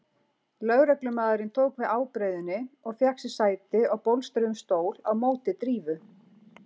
Lögreglumaðurinn tók við ábreiðunni og fékk sér sæti á bólstruðum stól á móti Drífu.